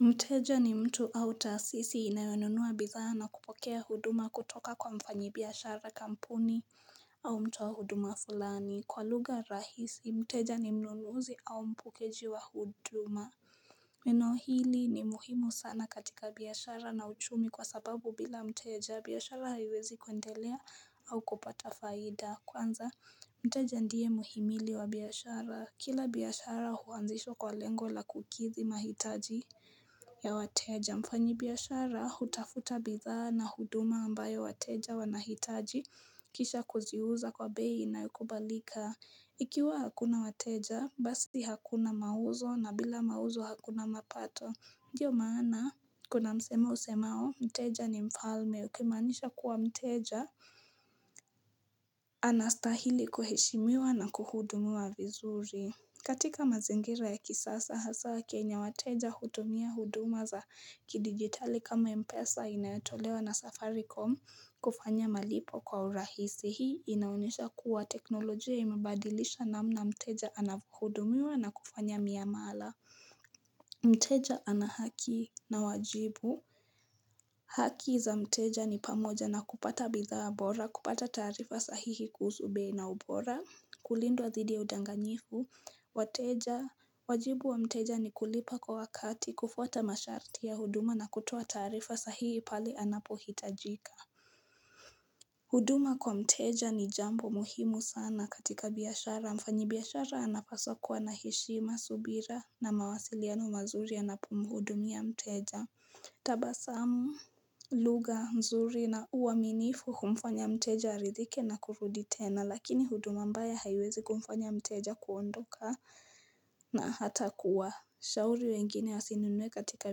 Mteja ni mtu au taasisi inayonunua bidhaa na kupokea huduma kutoka kwa mfanyabiashara, kampuni au mtu wa huduma fulani. Kwa lugha rahisi, mteja ni mnunuzi au mpokezi wa huduma. Neno hili ni muhimu sana katika biashara na uchumi kwasababu bila mteja biashara haiwezi kuendelea au kupata faida. Kwanza, mteja ndiye mhimili wa biashara. Kila biashara huanzishwa kwa lengo la kukidhi mahitaji. Ya wateja. Mfanyabiashara hutafuta bidhaa na huduma ambayo wateja wanahitaji kisha kuziuza kwa bei inayokubalika Ikiwa hakuna wateja, basi hakuna mauzo na bila mauzo hakuna mapato, ndiyo maana kuna msemo usemao mteja ni mfalme ukimaanisha kuwa mteja Anastahili kuheshimiwa na kuhudumiwa vizuri katika mazingira ya kisasa hasa kenya, wateja hutumia huduma za kidigitali kama mpesa inayotolewa na safaricom kufanya malipo kwa urahisi. Hii inaonyesha kuwa teknolojia imebadilisha namna mteja anahudumiwa na kufanya miamala Mteja ana haki na wajibu haki za mteja ni pamoja na kupata bidhaa bora kupata taarifa sahihi kuhusu bei na ubora, kulindwa dhidi ya udanganyifu wajibu wa mteja ni kulipa kwa wakati, kufuata masharti ya huduma na kutoa taarifa sahihi pale anapohitajika huduma kwa mteja ni jambo muhimu sana katika biashara. Mfanyabiashara anapaswa kuwa na heshima, subira na mawasiliano mazuri anapomhudumia mteja tabasamu, lugha nzuri na uaminifu humfanya mteja aridhike na kurudi tena. Lakini huduma mbaya haiwezi kumfanya mteja kuondoka na hata kuwashauri wengine wasinunue katika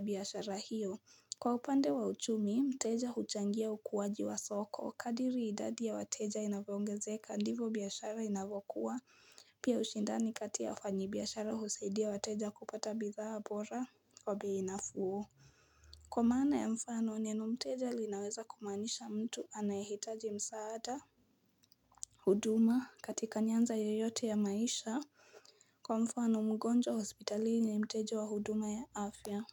biashara hiyo. Kwaupande wa uchumi, mteja huchangia ukuaji wa soko, kadri idadi ya wateja inavoongezeka, ndivo biashara inavokua Pia ushindani kati ya wafanyabiashara husaidia wateja kupata bidhaa bora kwa bei nafuu. Kwa maana ya mfano neno mteja linaweza kumaanisha mtu anayehitaji msaada huduma katika nyanza yoyote ya maisha. Kwamfano, mgonjwa hospitalini ni mteja wa huduma ya afya.